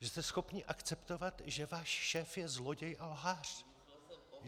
Že jste schopni akceptovat, že váš šéf je zloděj a lhář!